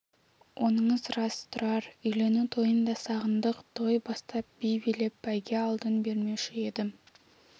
оныңыз рас тұрар үйлену тойын да сағындық той бастап би билеп бәйге алдын бермеуші едім